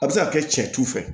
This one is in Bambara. A bɛ se ka kɛ cɛ tu fɛ